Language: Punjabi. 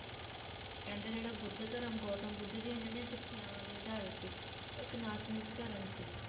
ਤੇ ਕਹਿੰਦੇ ਜਿਹੜਾ ਬੁੱਧ ਧਰਮ ਗੋਤਮ ਬੁੱਧ ਦੀਆਂ ਜਿਹੜੀਆਂ ਸਿੱਖਿਆਵਾਂ ਤੇ ਆਧਾਰਿਤ ਸੀ ਉਹ ਇੱਕ ਨਾਸਤਿਕ ਧਰਮ ਸੀ।